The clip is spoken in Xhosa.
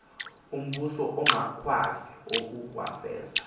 umbuso ungakwazi ukuwafeza